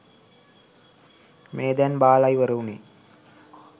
මේ දැන් බාල ඉවර වුනේ.